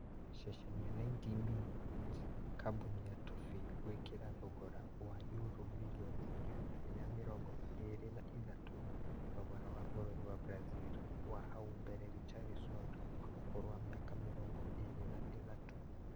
Ceceni ya 90min, Kambuni ya Toffee gwĩkĩra thogora wa yuro mirioni igana rĩa mĩrongo ĩna na ithatũ thogora wa bũrũri wa Brazil wa hau mbere Richarlison wa ũkũrũ wa mĩaka mĩrongo ĩrĩ na ithatũ